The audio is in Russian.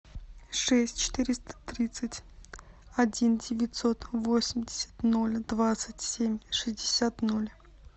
шесть четыреста тридцать один девятьсот восемьдесят ноль двадцать семь шестьдесят ноль